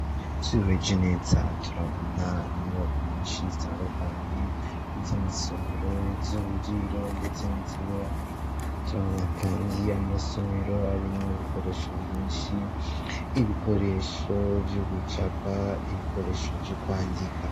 Tubiweje neza turabona inyubakunonshi zitarukanye izo amasomero z'uburiro, ndetse n'izuburano turabona, kandi amasomero arimwo ibikoresho vyinshi ibikoresho vy'ugucaba ibikoresho vy'ukwandika.